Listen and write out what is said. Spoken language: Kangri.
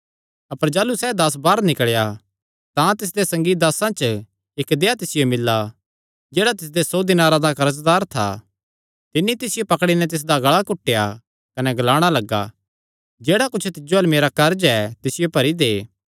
अपर जाह़लू सैह़ दास बाहर निकल़ेया तां तिसदे संगी दासां च इक्क देहया तिसियो मिल्ला जेह्ड़ा तिसदे सौ दिनारां दा कर्जदार था तिन्नी तिसियो पकड़ी नैं तिसदा गल़ा घुटेया कने ग्लाणा लग्गा जेह्ड़ा कुच्छ तिज्जो अल्ल मेरा कर्ज ऐ तिसियो भरी दे